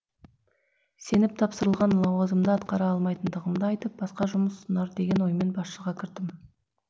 сеніп тапсырылған лауазымды атқара алмайтындығымды айтып басқа жұмыс ұсынар деген оймен басшыға кірдім